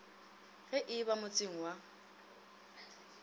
ge e ba motseng wa